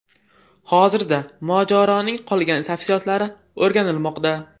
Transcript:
Hozirda mojaroning qolgan tafsilotlari o‘rganilmoqda.